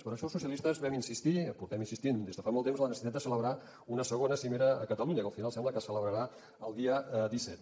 per això els socialistes vam insistir portem insistint des de fa molt temps en la necessitat de celebrar una segona cimera a catalunya que al final sembla que es celebrarà el dia disset